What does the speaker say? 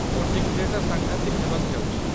Voting ଡେ'ଟା ସାଙ୍ଘାତିକ ହେବାକୁ ଯାଉଛି ।